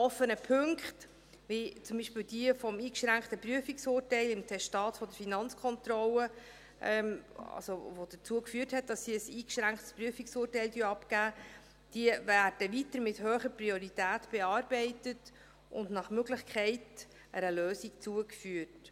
Die noch offenen Punkte, die zum Beispiel zum eingeschränkten Prüfungsurteil im Testat der Finanzkontrolle führten, beziehungsweise dazu, dass diese ein eingeschränktes Prüfungsurteil abgab, werden weiter mit hoher Priorität bearbeitet und nach Möglichkeit einer Lösung zugeführt.